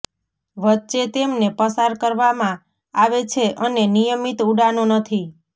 વચ્ચે તેમને પસાર કરવામાં આવે છે અને નિયમિત ઉડાનો નથી